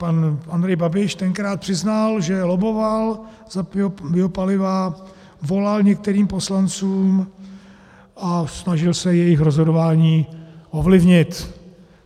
Pan Andrej Babiš tenkrát přiznal, že lobboval za biopaliva, volal některým poslancům a snažil se jejich rozhodování ovlivnit.